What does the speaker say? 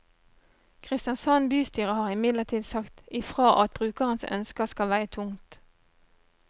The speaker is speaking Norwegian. Kristiansand bystyre har imidlertid sagt i fra at brukerens ønsker skal veie tungt.